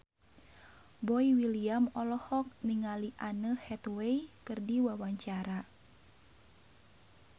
Boy William olohok ningali Anne Hathaway keur diwawancara